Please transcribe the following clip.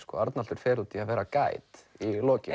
Arnaldur fer út í það að vera Guide í lokin